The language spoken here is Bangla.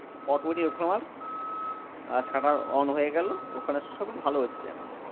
autometic ওখানে আমার shutter on হয়ে গেলো ওখানে সবই ভালো হচ্ছে এখন